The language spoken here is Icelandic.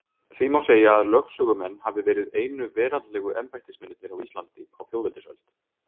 Því má segja að lögsögumenn hafi verið einu veraldlegu embættismennirnir á Íslandi á þjóðveldisöld.